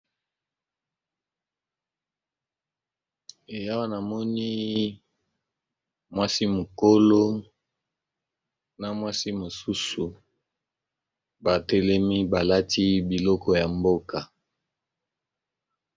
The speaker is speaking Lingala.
Awa wanamoni mwasi mokolo na mwasi mosusu batelemi balati biloko ya mboka.